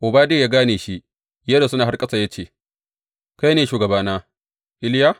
Obadiya ya gane shi, ya rusuna har ƙasa, ya ce, Kai ne, shugabana, Iliya?